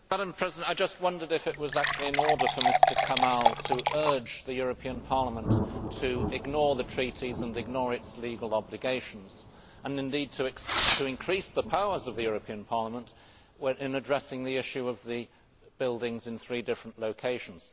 Madam President, I just wondered if it was actually in order for Mr Kamall to urge the European Parliament to ignore the Treaties and ignore its legal obligations and, indeed, to increase the powers of the European Parliament in addressing the issue of the buildings in three different locations.